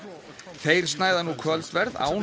þeir snæða nú kvöldverð án